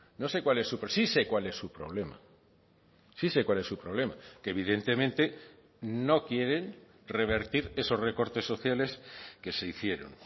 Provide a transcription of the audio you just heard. no sé cuál es su sí sé cuál es su problema sí se cuál es su problema que evidentemente no quieren revertir esos recortes sociales que se hicieron